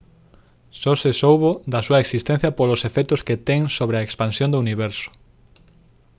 só se soubo da súa existencia polos efectos que ten sobre a expansión do universo